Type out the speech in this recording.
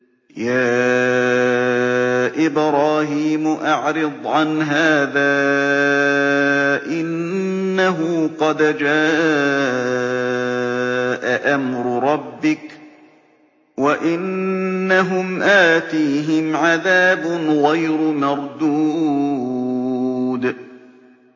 يَا إِبْرَاهِيمُ أَعْرِضْ عَنْ هَٰذَا ۖ إِنَّهُ قَدْ جَاءَ أَمْرُ رَبِّكَ ۖ وَإِنَّهُمْ آتِيهِمْ عَذَابٌ غَيْرُ مَرْدُودٍ